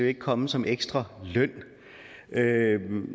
ikke komme som en ekstra løn